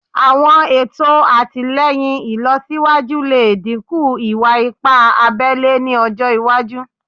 Awọn eto atilẹyin ilọsiwaju le dinku iwa-ipa abele ni ọjọ iwaju